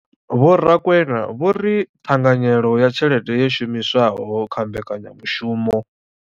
Vho Rakwena vho ri ṱhanganyelo ya tshelede yo shumiswaho kha mbekanyamushumo.